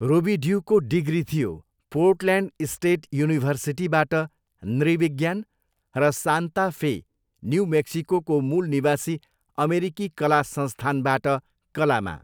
रोबिड्युको degree थियो, Portland state युनिभर्सिटीबाट नृविज्ञान र सान्ता फे, न्यू मेक्सिकोको मूल निवासी अमेरिकी कला संस्थानबाट कलामा।